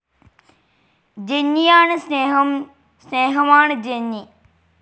ജെന്നിയാണ് സ്നേഹം സ്നേഹമാണ് ജെന്നി